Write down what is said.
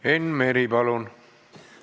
Enn Meri, palun!